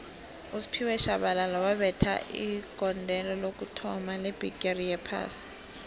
usphiwe shabalala wabetha igondelo lokuthoma lebhigixi yophasi